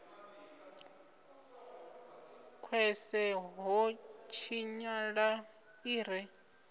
khwese ho tshinyala i re